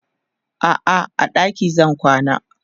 a'a a ɗaki zan kwana